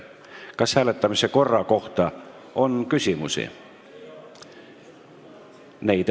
Kas hääletamise korra kohta on küsimusi?